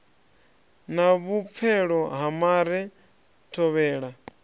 na vhupfelo ha mare thovhela